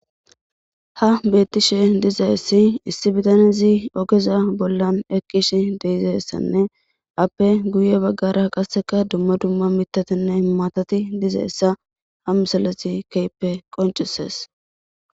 Ha betishe diza issi bitanezi izi oveza bolla eqishe de'izaysanne afe guye bagara qaeka dumma dumma mitatunne matati dizaysa ha misilezi kehipe qoncises